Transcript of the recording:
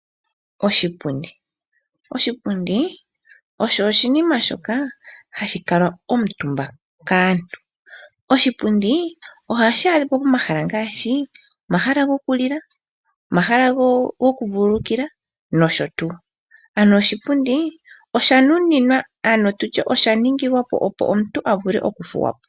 Oshipindi, oshipundi osho oshinima shoka hashi kalwa omuntumba kantu, ohashi adhika pomahala ngaashi omahala gokulila, goku vulukilwa nosho tuu. Oshipundi osha nuninwa opo omuntu a vule oku thuwapo.